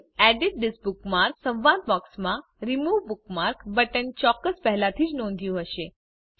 તમે edit this bookmark સંવાદ બોક્સમાં રિમૂવ બુકમાર્ક બટન ચોક્કસ પહેલાથી જ નોધ્યું હશે